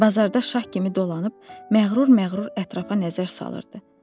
Bazarda şah kimi dolanıb məğrur-məğrur ətrafa nəzər salırdı.